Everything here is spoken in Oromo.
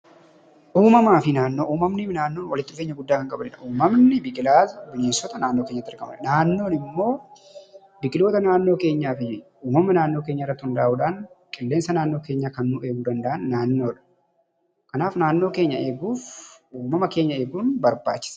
Uumamaa fi naannoo. Uumamaa fi naannoon walitti dhufeenyaa guddaa kan qabanidha. Uumamni biqilaas, bineensoota naannoi keenyaatti argamanidha. Naannoon immoo biqiloota naannoo keenyaa fi uumamaa naannoo keenyaa irratti hunda'uudhaan qillensaa naannoo keenyaa eeguu kan danda'an naannoodha. Kanaaf naannoo keenyaa eeguuf uumamaa keenyaa eeguun barbachisaadha?